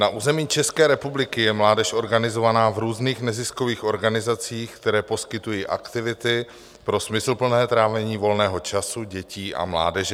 Na území České republiky je mládež organizovaná v různých neziskových organizacích, které poskytují aktivity pro smysluplné trávení volného času dětí a mládeže.